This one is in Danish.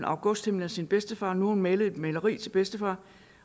augusthimmelen af sin bedstefar nu har hun malet et maleri til sin bedstefar